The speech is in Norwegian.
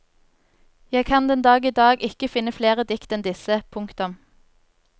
Jeg kan den dag idag ikke finne flere dikt enn disse. punktum